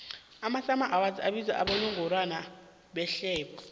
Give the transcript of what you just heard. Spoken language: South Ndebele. amasummer awards abizwa abowongorwana behlobo